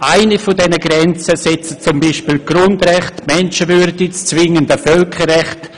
Eine dieser Grenzen setzen beispielsweise die Grundrechte, die Menschenwürde oder das zwingende Völkerrecht.